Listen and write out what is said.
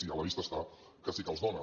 i a la vista està que sí que els dóna